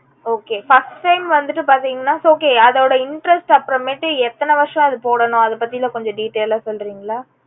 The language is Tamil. okayfirst time வந்துட்டு பாத்தீங்கன்னா its okay அதோட interest அப்புறமேடு எத்தனை வர்ஷம் அது போடணும் அது பத்தி கொஞ்சம் detail ஆ சொல்றிங்களா?